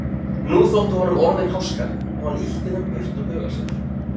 Nú þóttu honum orðin háskaleg og hann ýtti þeim burt úr huga sér.